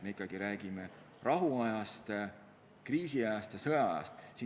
Me ikkagi räägime rahuajast, kriisiajast ja sõjaajast.